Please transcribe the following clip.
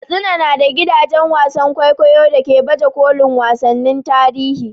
Katsina na da gidajen wasan kwaikwayo da ke baje kolin wasannin tarihi.